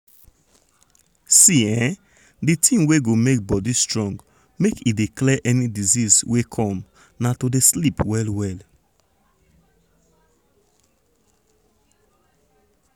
see [um][um]di thing wey go make body strong make e dey clear any disease wey come na to dey um sleep well well.